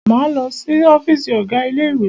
Máa lọ si ọ́fìsì ọ̀gá ilé ìwé.